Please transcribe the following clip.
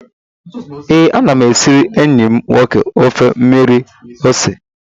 Ee, ana m esiri enyi m nwoke ofe mmiri ose